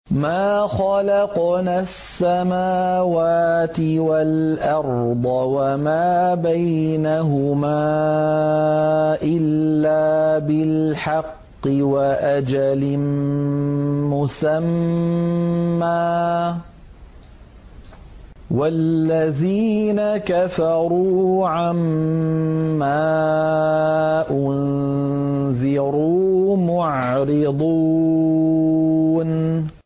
مَا خَلَقْنَا السَّمَاوَاتِ وَالْأَرْضَ وَمَا بَيْنَهُمَا إِلَّا بِالْحَقِّ وَأَجَلٍ مُّسَمًّى ۚ وَالَّذِينَ كَفَرُوا عَمَّا أُنذِرُوا مُعْرِضُونَ